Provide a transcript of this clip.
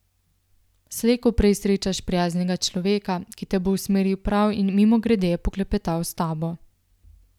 Slej ko prej srečaš prijaznega človeka, ki te bo usmeril prav in mimogrede poklepetal s tabo.